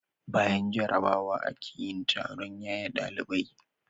Bayan jarrabawa ake yin taron yaye ɗalibai.